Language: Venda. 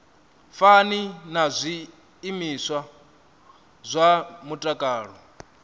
fani na zwiimiswa zwa mutakalo